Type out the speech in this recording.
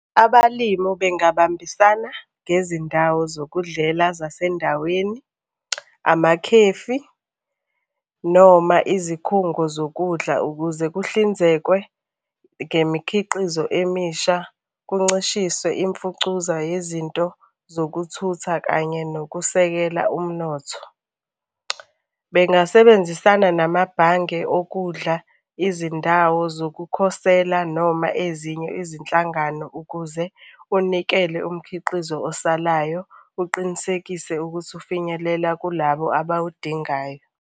Abalimu bengabambisana ngezindawo zokudlela zasendaweni, amakhefi, noma izikhungo zokudla ukuze kuhlinzekwe ngemikhiqizo emisha, kuncishiswe imfucuza yezinto zokuthutha kanye nokusekela umnotho. Bengasebenzisana namabhange okudla, izindawo zokukhosela noma ezinye izinhlangano ukuze unikele umkhiqizo osalayo uqinisekise ukuthi ufinyelela kulabo abawudingayo.